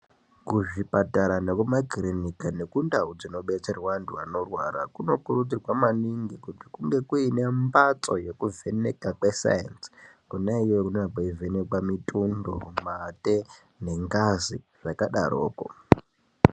Kuzvipatara nekuma kirinika nekundau dzinobetserwa antu anorwara ,kunokurudzirwa maningi kuti kunge kuine mbatso yekuvheneka kwe sayenzi kona iyoyo kunenge kweivhenekwe mitundo, mate nengazi zvakadaroko.